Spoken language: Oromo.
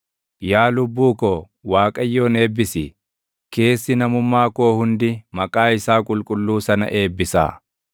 Yaa lubbuu ko, Waaqayyoon eebbisi; keessi namummaa koo hundi maqaa isaa qulqulluu sana eebbisaa.